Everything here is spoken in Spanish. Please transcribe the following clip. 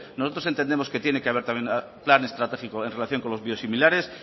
nosotros entendemos que tiene que haber también plan estratégico en relación con los biosimilares